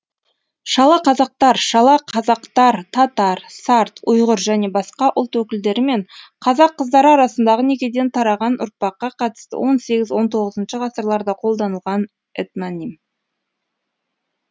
шалақазақтар шала қазақтар татар сарт ұйғыр және басқа ұлт өкілдері мен қазақ қыздары арасындағы некеден тараған ұрпаққа қатысты он сегізінші он тоғызыншы ғасырларда қолданылған этноним